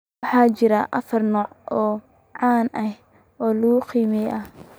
Waxaa jira afar nooc oo caan ah oo leukemia ah.